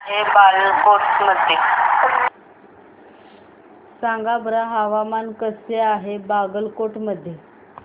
सांगा बरं हवामान कसे आहे बागलकोट मध्ये